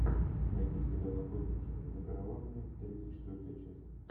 найти сериал охотники за караванами тридцать четвертая часть